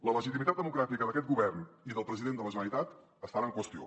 la legitimitat democràtica d’aquest govern i del president de la generalitat estan en qüestió